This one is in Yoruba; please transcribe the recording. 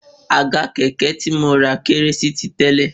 Àga kẹ̀kẹ́ tí mo rà kéré sí ti tẹ́lẹ̀